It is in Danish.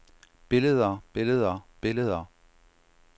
billeder billeder billeder